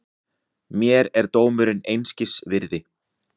Mér er dómurinn einskis virði.